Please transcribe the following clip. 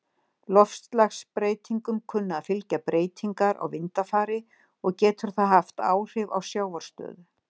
Loftslagsbreytingum kunna að fylgja breytingar á vindafari, og getur það haft áhrif á sjávarstöðu.